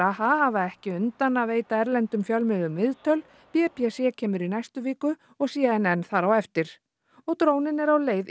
hafa ekki undan að veita erlendum fjölmiðlum viðtöl b b c kemur í næstu viku og c n n þar á eftir og dróninn er á leið í